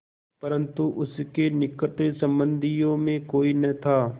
परन्तु उसके निकट संबंधियों में कोई न था